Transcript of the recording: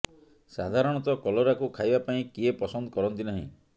ସାଧାରଣତଃ କଲରାକୁ ଖାଇବା ପାଇଁ କିଏ ପସନ୍ଦ କରନ୍ତି ନାହିଁ